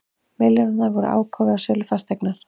Milljónirnar voru ágóði af sölu fasteignar